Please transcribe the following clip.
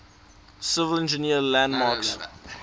civil engineering landmarks